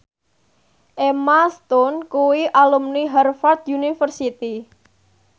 Emma Stone kuwi alumni Harvard university